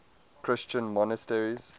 christian monasteries